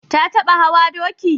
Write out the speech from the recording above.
Ta taɓa hawa doki?